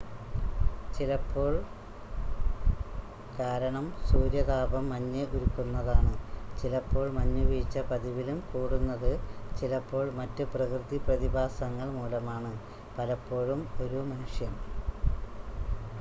ചിലപ്പോൾ കാരണം സൂര്യതാപം മഞ്ഞ് ഉരുക്കുന്നതാണ് ചിലപ്പോൾ മഞ്ഞുവീഴ്ച പതിവിലും കൂടുന്നത് ചിലപ്പോൾ മറ്റ് പ്രകൃതി പ്രതിഭാസങ്ങൾ മൂലമാണ് പലപ്പോഴും ഒരു മനുഷ്യൻ